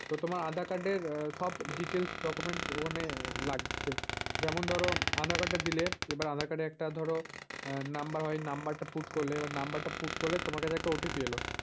তো তোমার আধার-কার্ড এর সব details document মানে লাগছে। যেমন ধর আধার-কার্ডটা দিলে এবার আধার-কার্ড এর একটা ধর আহ number হয় number put করলে number put করলে তোমার কাছে একটা OTP এল।